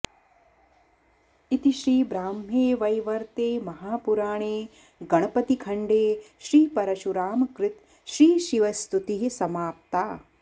इति श्री ब्राह्मे वैवर्ते महापुराणे गणपति खण्डे श्रीपरशुरामकृत श्रीशिवस्तुतिः समाप्ता